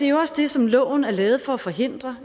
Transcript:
jo også det som loven er lavet for at forhindre